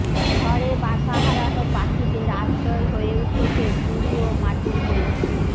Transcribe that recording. ঝড়ে বাসা হারানো পাখিদের আশ্রয় হয়ে উঠেছে ঝুড়ি ও মাটির কলসি